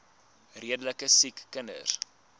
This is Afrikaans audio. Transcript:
redelike siek kinders